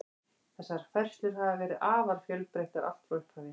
Þessar færslur hafa verið afar fjölbreyttar allt frá upphafi.